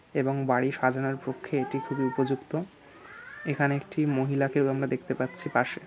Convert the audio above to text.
এবং বাড়ি সাজানোর পক্ষে এটি খুবই উপযুক্ত এখানে একটি মহিলাকে ও আমরা দেখতে পাচ্ছি পাশে।